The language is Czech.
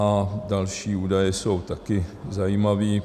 A další údaje jsou také zajímavé.